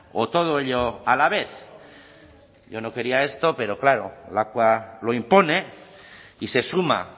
o todo ello a la vez yo no quería esto pero claro lakua lo impone y se suma